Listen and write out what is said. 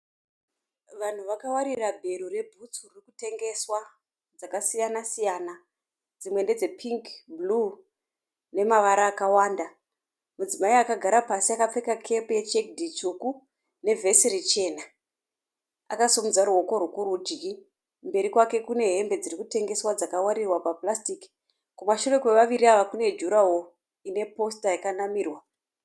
Vanhu vakawarira bhero rebhutsu dzirikutengeswa dzakasiyana siyana. Dzimwe ndedzepingi, bhuruwu nemavara akawanda. Mudzimai akagara pasi akapfeka kepi ye chekidhi tsvuku nevhesi richena, akasimudza ruoko rwekurudyi. Mberi kwake kune hembe dziri kutengesewa dzakawarirwa pa purasitiki. Mumashure kwevaviri ava kune jurahoro ineposita rakanamirwa.